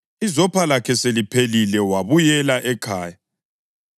Izopha lakhe seliphelile wabuyela ekhaya.